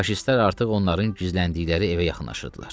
Faşistlər artıq onların gizləndikləri evə yaxınlaşırdılar.